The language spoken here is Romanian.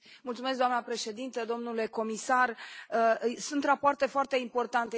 Doamnă președintă, domnule comisar, sunt rapoarte foarte importante.